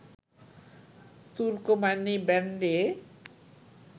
তুর্কম্যানি ব্যান্ডে